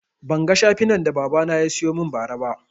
Ban ga shafinan da baba na yasiyo mun ba ra ba